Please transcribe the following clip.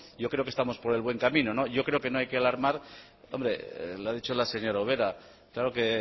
yo creo que estamos por el buen camino yo creo que no hay que alarmar hombre lo ha dicho la señora ubera claro que